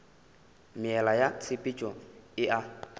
meela ya tshepetšo e a